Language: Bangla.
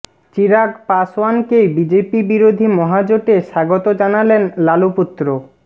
চিরাগ পাসওয়ানকে বিজেপি বিরোধী মহাজোটে স্বাগত জানালেন লালু পুত্র